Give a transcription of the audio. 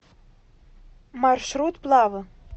маршрут плавэ